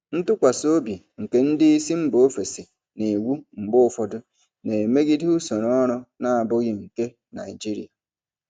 Ntụkwasị obi nke ndị isi mba ofesi na iwu mgbe ụfọdụ na-emegide usoro ọrụ na-abụghị nke Naijiria.